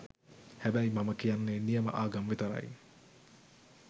හැබැයි මම කියන්නේ නියම ආගම් විතරයි .